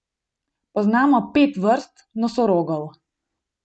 Poznamo pet vrst nosorogov.